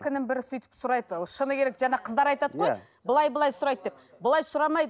бірі сөйтіп сұрайды шыны керек жаңа қыздар айтады ғой былай былай сұрайды деп былай сұрамайды